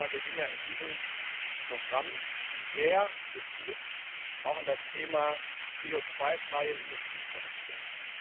Aber wir gehen ja in diesem Programm sehr gezielt auch in das Thema CO2 freie Industrieproduktion.